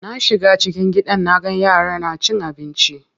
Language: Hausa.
Na shiga cikin gidan naga yaran na cin abinci.